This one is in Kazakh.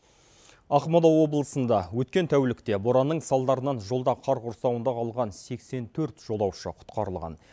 ақмола облысында өткен тәулікте боранның салдарынан жолда қар құрсауында қалған сексен төрт жолаушы құтқарылған